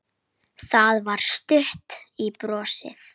Það var stutt í brosið.